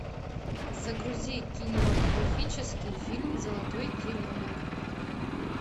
загрузи кинематографический фильм золотой теленок